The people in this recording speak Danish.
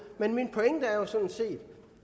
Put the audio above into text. med min pointe er sådan set